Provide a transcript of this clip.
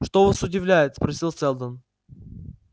что вас удивляет спросил сэлдон